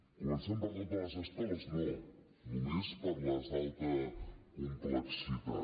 començant per totes les escoles no només per les d’alta complexitat